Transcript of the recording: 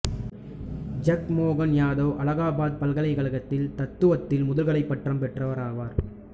ஜக்மோகன் யாதவ் அலகாபாத் பல்கலைக்கழகத்தில் தத்துவத்தில் முதுகலைப் பட்டம் பெற்றவர் ஆவார்